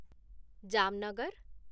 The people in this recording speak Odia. ଜାମନଗର